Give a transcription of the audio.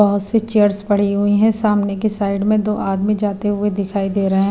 बहुत सी चेयर्स पड़ी हुई हैं सामने की साइड में दो आदमी जाते हुए दिखाई दे रहे हैं।